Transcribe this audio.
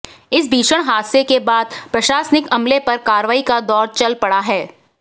इस भीषण हादसे के बाद प्रशासनिक अमले पर कार्रवाई का दौर चल पड़ा है